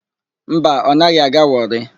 Mba, ọ naghị aga Wọrị.